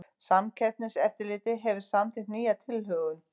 Samkeppniseftirlitið hefur samþykkt nýja tilhögun